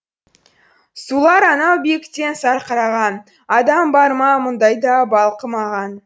сулар анау биіктен сарқыраған адам бар ма мұндай да балқымаған